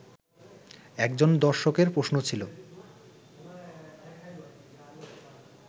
একজন দর্শকের প্রশ্ন ছিল